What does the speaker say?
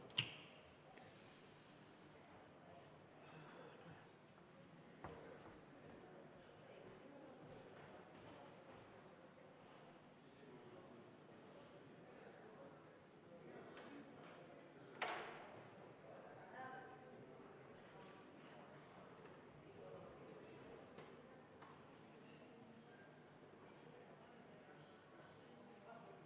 Me oleme 345. seaduseelnõu teise lugemise juures, atmosfääriõhu kaitse seaduse muutmine, esimese muudatusettepaneku juures.